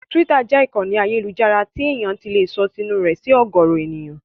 Tíwítà jẹ́ ìkànnì ayélujára tí èèyàn ti lè sọ tinú rẹ̀ sí ọ̀gọ̀ọ̀rọ̀ èèyàn.